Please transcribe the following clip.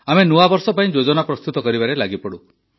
ଆମେ ନୂଆବର୍ଷ ପାଇଁ ଯୋଜନା ପ୍ରସ୍ତୁତ କରିବାରେ ଲାଗିପଡ଼ୁ